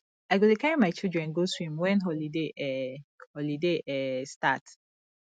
i go dey carry my children go swim wen holiday um holiday um start